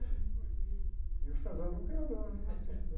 E o é um criador, né? Um artista, né?